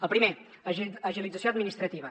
el primer agilització administrativa